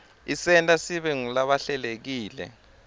isenta sibe ngulabahlelekile